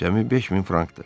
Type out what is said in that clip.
Cəmi 5000 frankdır.